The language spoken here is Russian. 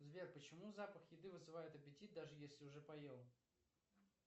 сбер почему запах еды вызывает аппетит даже если уже поел